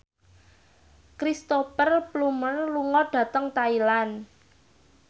Cristhoper Plumer lunga dhateng Thailand